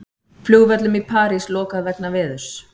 Flugvöllum í París lokað vegna veðurs